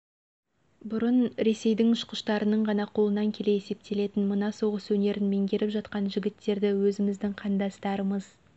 бұрын ресейдің ұшқыштарының ғана қолынан келе есептелетін мына соғыс өнерін меңгеріп жатқан жігіттерді өзіміздің қандастарымыз